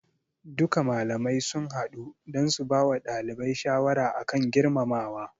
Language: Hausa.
Duka malamai sun hadu dan su bawa ɗalibai shawara akan girmamawa